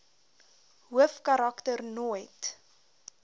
hoofkarak ter nooit